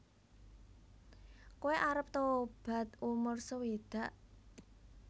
Koe arep tobat umur sewidak